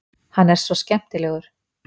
Hann er svo skemmtilegur!